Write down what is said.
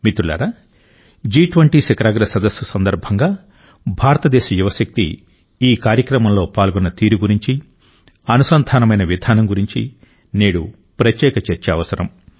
మిత్రులారా జి20 శిఖరాగ్ర సదస్సు సందర్భంగా భారతదేశ యువశక్తి ఈ కార్యక్రమంలో పాల్గొన్న తీరు గురించి అనుసంధానమైన విధానం గురించి నేడు ప్రత్యేక చర్చ అవసరం